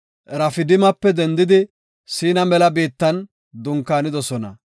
Rafidimape dendidi Siina mela biittan dunkaanidosona.